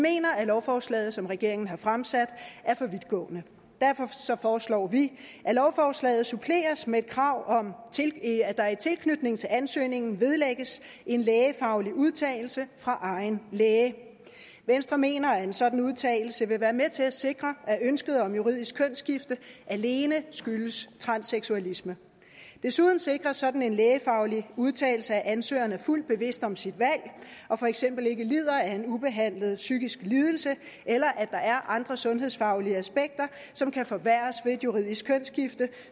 mener at lovforslaget som regeringen har fremsat er for vidtgående derfor foreslår vi at lovforslaget suppleres med et krav om at der i tilknytning til ansøgningen vedlægges en lægefaglig udtalelse fra egen læge venstre mener at en sådan udtalelse vil være med til at sikre at ønsket om juridisk kønsskifte alene skyldes transseksualisme desuden sikrer sådan en lægefaglig udtalelse at ansøgeren er fuldt bevidst om sit valg og for eksempel ikke lider af en ubehandlet psykisk lidelse eller at der er andre sundhedsfaglige aspekter som kan forværres ved et juridisk kønsskifte